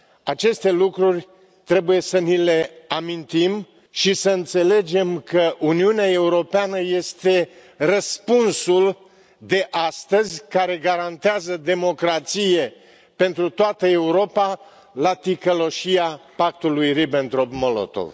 Aceste lucruri trebuie să ni le amintim și să înțelegem că Uniunea Europeană este răspunsul de astăzi care garantează democrație pentru toată Europa la ticăloșia Pactului Ribbentrop Molotov.